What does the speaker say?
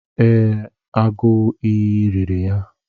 Ee, agụ iyi riri ya.